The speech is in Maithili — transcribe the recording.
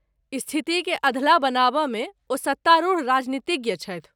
स्थितिकेँ अधलाह बनेबामे ओ सत्तारूढ़ राजनीतिज्ञ छथि।